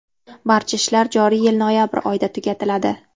Barcha ishlar joriy yil noyabr oyida tugatiladi.